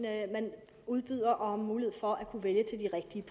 at man udbyder og har mulighed for at kunne vælge til de rigtige